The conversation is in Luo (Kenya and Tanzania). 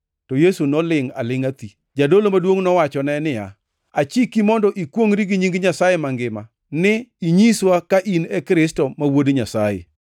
To Yesu nolingʼ alingʼa thi. Jadolo maduongʼ nowachone niya, “Achiki mondo ikwongʼri gi nying Nyasaye Mangima ni inyiswa ka in e Kristo ma Wuod Nyasaye.”